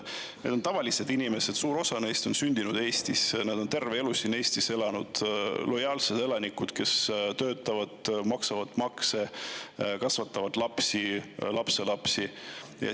Need on tavalised inimesed, suur osa neist on sündinud Eestis, nad on terve elu siin Eestis elanud, lojaalsed elanikud, kes töötavad, maksavad makse, kasvatavad lapsi, lapselapsi.